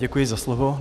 Děkuji za slovo.